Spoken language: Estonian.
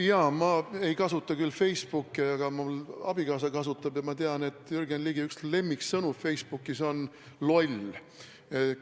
Jaa, ma ei kasuta küll Facebooki, aga mu abikaasa kasutab ja ma tean, et Jürgen Ligi üks lemmiksõnu Facebookis on "loll".